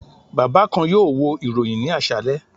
Baba kan yoo wo iroyin ni aṣalẹ